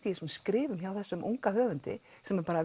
í þessum skrifum hjá þessum unga höfundi sem er